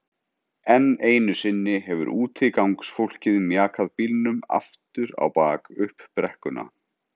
Enn einu sinni hefur útigangsfólkið mjakað bílnum aftur á bak upp brekkuna.